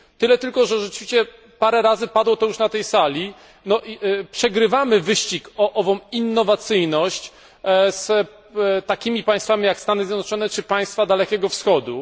Tyle tylko, że rzeczywiście parę razy padło to już na tej sali przegrywamy wyścig o ową innowacyjność z takimi państwami, jak Stany Zjednoczone czy państwa Dalekiego Wschodu.